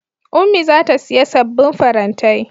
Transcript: Ummi za ta siya sabbin farantai.